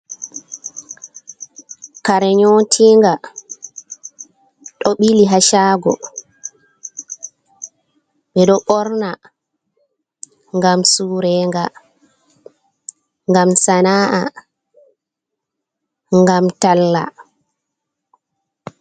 Kare nyootinga ɗo ɓili haa caago ɓe ɗo ɓorna ngam sureenga, ngam sana’a ,ngam talla.